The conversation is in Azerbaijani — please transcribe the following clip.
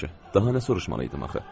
Yaxşı, daha nə soruşmalıydım axı?